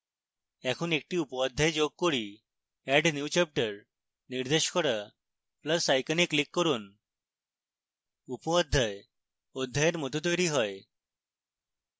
এখন একটি উপঅধ্যায় যোগ করি add new chapter নির্দেশ করা plus icon a click করুন